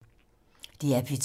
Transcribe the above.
DR P2